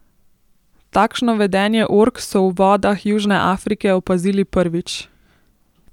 Takšno vedenje ork so v vodah Južne Afrike opazili prvič.